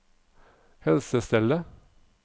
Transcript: helsestellet